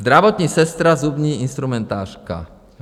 Zdravotní sestra, zubní instrumentářka.